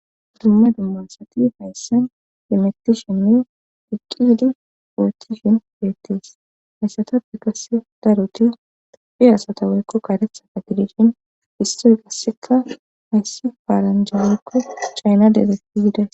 Dumma dummasati hayssan demettishinnu diqqidi purtishin geettees hayssatabe gasse daruti fi asata weykko karetha ka tidishin istori gasseka hayssi faaranjalikko chayna dezetizide.